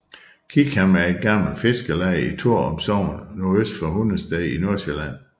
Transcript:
Kikhavn er et gammelt fiskerleje i Torup Sogn nordøst for Hundested i Nordsjælland